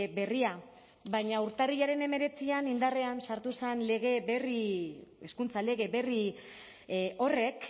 berria baina urtarrilaren hemeretzian indarrean sartu zen hezkuntza lege berri horrek